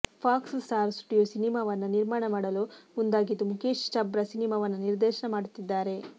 fox Star Studio ಸಿನಿಮಾವನ್ನ ನಿರ್ಮಾಣ ಮಾಡಲು ಮುಂದಾಗಿದ್ದು ಮುಖೇಶ್ ಛಬ್ರಾ ಸಿನಿಮಾವನ್ನ ನಿರ್ದೇಶನ ಮಾಡುತ್ತಿದ್ದಾರೆ